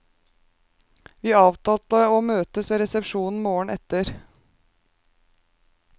Vi avtalte å møtes ved resepsjonen morgenen etter.